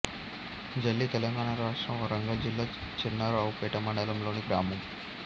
జల్లి తెలంగాణ రాష్ట్రం వరంగల్ జిల్లా చెన్నారావుపేట మండలం లోని గ్రామం